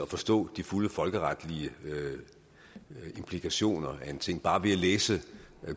forstå de fulde folkeretlige implikationer af en ting bare ved at læse